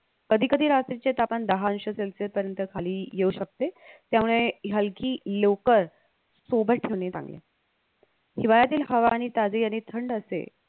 कधीकधी रात्रीचे तापमान दहा अंश celsius पर्यंत खाली येऊ शकते त्यामुळे हलकी लोकर सोबत ठेवणे चांगले हिवाळ्यातील हवा आणि ताजे आणि थंड असते